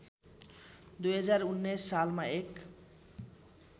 २०१९ सालमा १